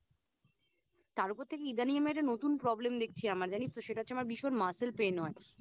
তার ওপর থেকে ইদানিং আমি একটা নতুন Problem দেখছি আমার জানিস তো সেটা হচ্ছে আমার ভীষণ Muscle pain হয়